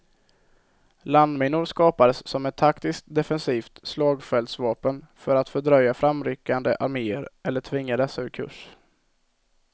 Landminor skapades som ett taktiskt, defensivt slagfältsvapen för att fördröja framryckande arméer eller tvinga dessa ur kurs.